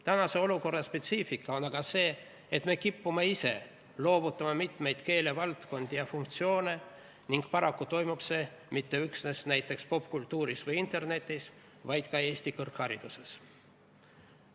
Praeguse olukorra spetsiifika seisneb selles, et me kipume ise loovutama mitmeid keelevaldkondi ja -funktsioone ning paraku ei toimu see üksnes näiteks popkultuuris või internetis, vaid ka Eesti kõrghariduses.